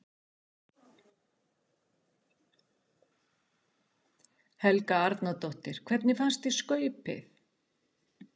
Helga Arnardóttir: Hvernig fannst þér skaupið?